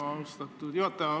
Austatud juhataja!